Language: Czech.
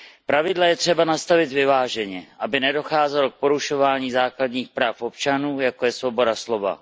Pravidla je třeba nastavit vyváženě, aby nedocházelo k porušování základních práv občanů, jako je svoboda slova.